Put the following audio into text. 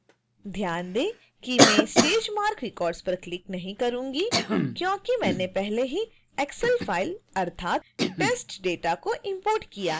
ध्यान दें कि मैं stage marc records पर क्लिक नहीं करूंगा क्योंकि मैंने पहले ही excel फाइल अर्थात testdata को इंपोर्ट किया है